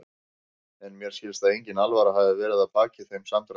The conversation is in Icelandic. En mér skilst að engin alvara hafi verið að baki þeim samdrætti.